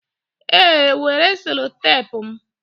ee, were sellotape m